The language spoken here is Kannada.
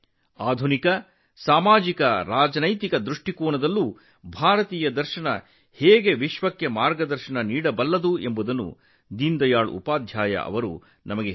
ಆಧುನಿಕ ಸಾಮಾಜಿಕ ಮತ್ತು ರಾಜಕೀಯ ದೃಷ್ಟಿಕೋನದಲ್ಲಿಯೂ ಸಹ ಭಾರತೀಯ ತತ್ವಶಾಸ್ತ್ರವು ಜಗತ್ತನ್ನು ಹೇಗೆ ಮಾರ್ಗದರ್ಶಿಸುತ್ತದೆ ಎಂಬುದನ್ನು ದೀನದಯಾಳ್ ಜಿ ನಮಗೆ ಕಲಿಸಿದರು